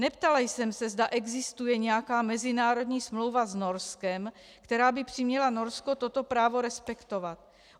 Neptala jsem se, zda existuje nějaká mezinárodní smlouva s Norskem, která by přiměla Norsko toto právo respektovat.